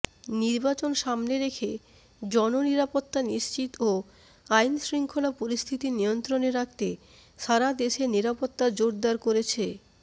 নির্বাচন সামনে রেখে জননিরাপত্তা নিশ্চিত ও আইনশৃঙ্খলা পরিস্থিতি নিয়ন্ত্রণে রাখতে সারা দেশে নিরাপত্তা জোরদার করেছে